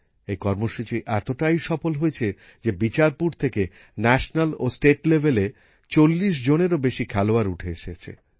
এই কর্মসূচি এতটাই সফল হয়েছে যে বিচারপুর থেকে জাতীয় ও রাজ্যস্তরের ৪০জনেরও বেশি খেলোয়াড় উঠে এসেছে